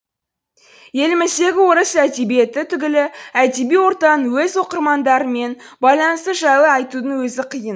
еліміздегі орыс әдебиеті түгілі әдеби ортаның өз оқырмандарымен байланысы жайлы айтудың өзі қиын